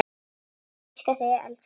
Ég elska þig, elsku amma.